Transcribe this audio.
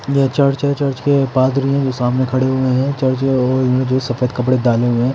यह चर्च है चर्च के पादरी हैं जो सामने खड़े हुए हैं चर्च वो इन्होंने जो सफेद कपड़े डाले हुए हैं।